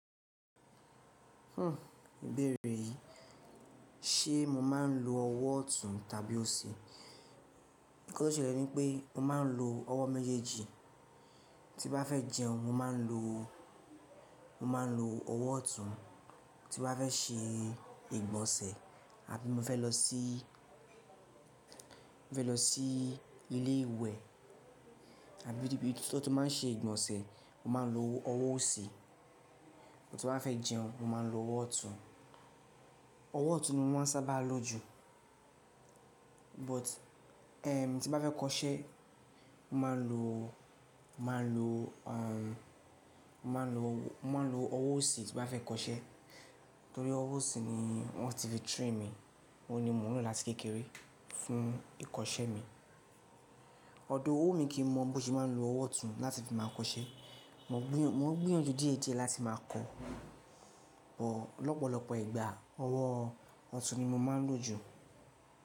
Hhm, ìbéèrè yìí, ṣe mo máa ń lo ọwọ́ ọ̀tún tàbí òsì? Nǹkan tó ṣẹlẹ̀ ni pé mo máa ń lo ọwọ́ méjèèjì. Tí bá fẹ́ jẹun mo máa ń lo ọwọ́ ọ̀tún. Tí n bá fẹ́ ṣe ìgbọ̀nsẹ̀ àbí mo fẹ́ lọ sí, mo fẹ́ lọ sí ilé ìwẹ̀ àbí nibi tan ti máa ń ṣe ìgbọ̀nsẹ̀ mo máa ń lo ọwọ́ òsì. Tí n bá fẹ́ jẹun mo máa ń lo ọwọ́ ọ̀tún. Ọwọ́ ọ̀tún ni mo máa ń sábà lo jù. But, tí n bá fẹ́ kọṣẹ́, mo máa ń lo, mo máa ń lo ọwọ́ òsì tí bá fẹ́ kọṣẹ́. Nítorí ọwọ́ òsì ni wọ́n ti lè train mi. Óhun ni mo n lo láti kékeré fún ìkọṣẹ́ mi. O wu mi kì í n mọ̀ bí wọ́n ṣe máa ń lo ọwọ́ ọ̀tún láti fi máa kọṣẹ́. Mo ń gbú, mo ń gbóyanjú díẹ̀díẹ̀ láti máa kọ́. Bọ̀ lọ́pọ̀lọpọ̀ ìgbà ọwọ́ ọ̀tún ni mo máa ń lo jù.